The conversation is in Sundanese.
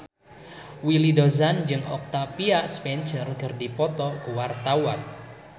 Willy Dozan jeung Octavia Spencer keur dipoto ku wartawan